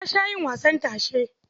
Na sha yin wasan tashe.